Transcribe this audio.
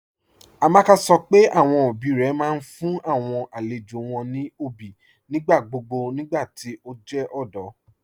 Amaka sọ́ pé awọn ọbí rẹ̀ máa n fún awọn alẹ̀jọ́ wọn ní ọbí nigbàgbogbo nigbàtí o jẹ ọdọ.